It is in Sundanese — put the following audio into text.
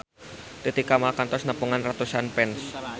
Titi Kamal kantos nepungan ratusan fans